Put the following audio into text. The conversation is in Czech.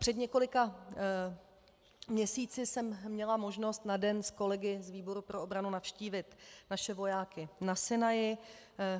Před několika měsíci jsem měla možnost na den s kolegy z výboru pro obranu navštívit naše vojáky na Sinaji.